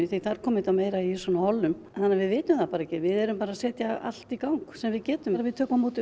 þar kom þetta meira í hollum þannig að við vitum það ekki við erum bara að setja allt í gang sem við getum við tökum á móti